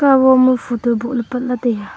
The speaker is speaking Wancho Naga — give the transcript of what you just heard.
kahwo ma photo bohley patla taiga.